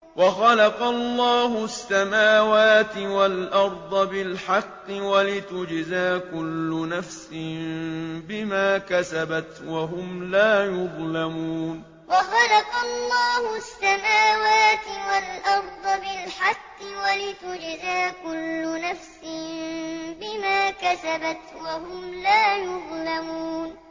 وَخَلَقَ اللَّهُ السَّمَاوَاتِ وَالْأَرْضَ بِالْحَقِّ وَلِتُجْزَىٰ كُلُّ نَفْسٍ بِمَا كَسَبَتْ وَهُمْ لَا يُظْلَمُونَ وَخَلَقَ اللَّهُ السَّمَاوَاتِ وَالْأَرْضَ بِالْحَقِّ وَلِتُجْزَىٰ كُلُّ نَفْسٍ بِمَا كَسَبَتْ وَهُمْ لَا يُظْلَمُونَ